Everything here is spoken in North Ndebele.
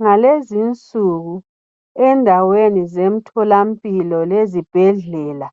Ngalezinsuku endaweni zemtholampilo lezibhedlela,